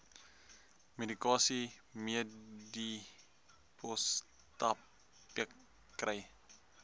medikasie medipostapteek kry